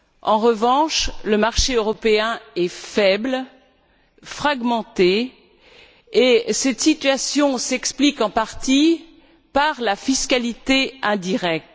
En revanche, le marché européen est faible, fragmenté, et cette situation s'explique en partie par la fiscalité indirecte.